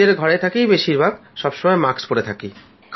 নিজের ঘরেই থাকি বেশীরভাগ সবসময় মাস্ক পড়ে থাকি